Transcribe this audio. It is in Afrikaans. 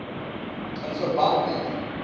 in verband met